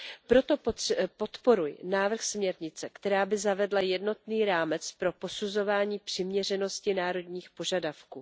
Proto podporuji návrh směrnice, která by zavedla jednotný rámec pro posuzování přiměřenosti národních požadavků.